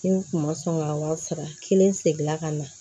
Ni n kun ma sɔn ka wa saba kelen segin ka na